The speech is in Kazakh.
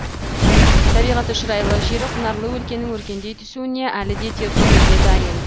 табиғаты шұрайлы жері құнарлы өлкенің өркендей түсуіне әлі де тер төгуге дайын